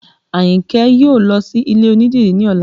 Ayinke yóò lọ sí ilé onídìrí ní ọ̀la